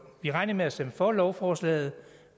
vi regner med at stemme for lovforslaget